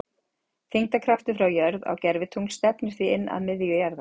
þyngdarkraftur frá jörð á gervitungl stefnir því inn að miðju jarðar